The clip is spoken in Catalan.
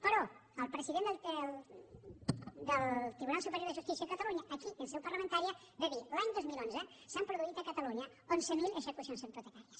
però el president del tribunal superior de justícia de catalunya aquí en seu parlamentària va dir l’any dos mil onze s’han produït a catalunya onze mil execucions hipotecàries